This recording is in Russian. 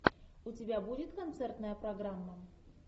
у тебя будет концертная программа